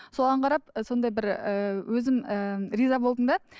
соған қарап сондай бір ііі өзім ііі риза болдым да